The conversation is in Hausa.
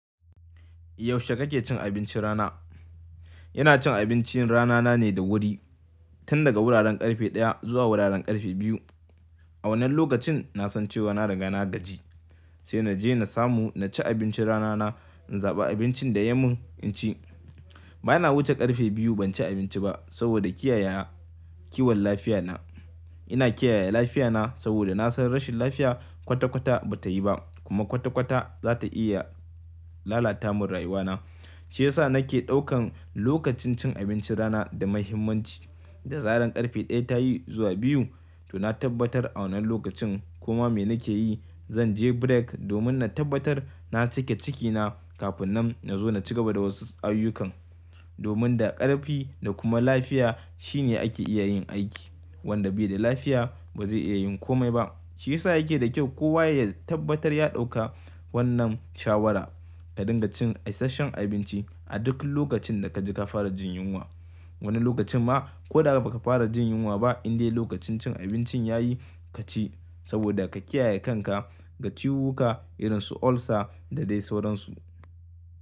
Yaushe kake cin abincin rana? Ina cin abincin rana na ne da wuri, tun daga wuraren ƙarfe ɗaya zuwa wuraren ƙarfe biyu. A wannan lokacin na san cewa na riga na gaji, sai na je na samu na ci abincin rana na, in zaɓa abincin da ya mun in ci. Bana wuce ƙarfe biyu ban ci abinci ba saboda kiyaye kiwon lafiya na. Ina kiyaye lafiya na saboda na san rashin lafiya kwata-kwata bata yi ba kuma kwata-kwata zata iya lalata mun rayuwa na. Shi yasa nake ɗaukan lokacin cin abincin rana da muhimmanci. Da zaran ƙarfe ɗaya ta yi zuwa biyu to na tabbatar a wannan lokacin kuma me nake yi zan je break domin na tabbatar na cika ciki na kafin nan na zo na cigaba da wasu ayyukan. Domin da ƙarfi da kuma lafiya shine ake iya yin aiki. Wanda bai da lafiya bazai iya yin komai ba. Shi yasa yake da kyau kowa ya tabbatar ya ɗauka wannan shawara. Ka dinga cin isasshen abinci a duk lokacin da kaji ka fara jin yunwa. Wani lokacin ma ko da baka fara jin yunwa ba indai lokacin cin abincin ya yi ka ci saboda ka kiyaye kanka ga ciwuka irin su ulcer da dai sauran su.